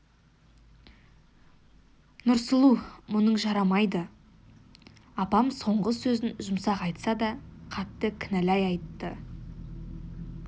нұрсұлу мұның жарамайды апам соңғы сөзін жұмсақ айтса да қатты кінәлай айтты